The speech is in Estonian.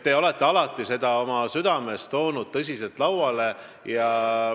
Te olete alati seda teemat oma südames kandnud ja esile toonud.